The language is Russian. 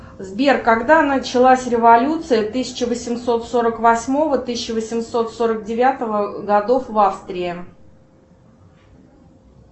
сбер когда началась революция тысяча восемьсот сорок восьмого тысяча восемьсот сорок девятого годов в австрии